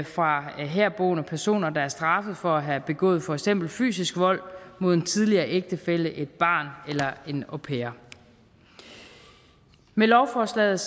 fra herboende personer der er straffet for at have begået for eksempel fysisk vold mod en tidligere ægtefælle et barn eller en au pair med lovforslaget